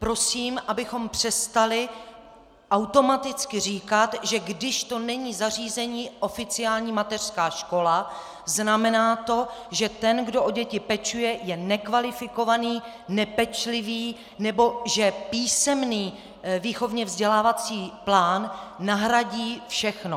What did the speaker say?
Prosím, abychom přestali automaticky říkat, že když to zařízení není oficiální mateřská škola, znamená to, že ten, kdo o děti pečuje, je nekvalifikovaný, nepečlivý nebo že písemný výchovně vzdělávací plán nahradí všechno.